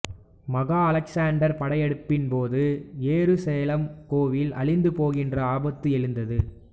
மகா அலெக்சாண்டர் படையெடுப்பின்போது எருசலேம் கோவில் அழிந்து போகின்ற ஆபத்து எழுந்தது